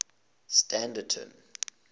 standerton